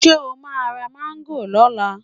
Ṣe o máa ra Máńgò lọ́la?